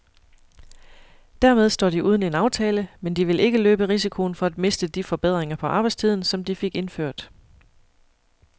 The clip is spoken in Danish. Dermed står de uden en aftale, men de vil ikke løbe risikoen for at miste de forbedringer på arbejdstiden, som de fik indført.